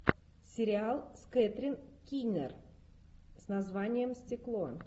сериал с кэтрин кинер с названием стекло